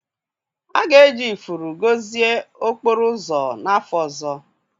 A ga-eji ifuru gọzie okporo ụzọ n'afọ ọzọ